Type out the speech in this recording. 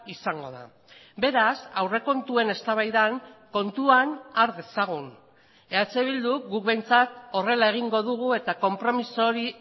izango da beraz aurrekontuen eztabaidan kontuan har dezagun eh bilduk guk behintzat horrela egingo dugu eta konpromiso hori